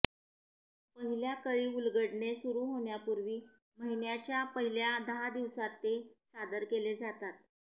पहिल्या कळी उलगडणे सुरू होण्यापूर्वी महिन्याच्या पहिल्या दहा दिवसांत ते सादर केले जातात